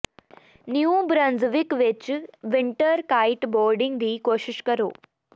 new Brunswick ਵਿੱਚ winter kite boarding ਦੀ ਕੋਸ਼ਿਸ਼ ਕਰੋ